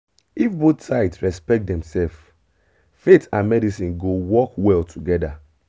if both sides respect demself faith and medicine go work well together.